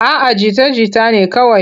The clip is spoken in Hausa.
A'a jita-jita ne kawai.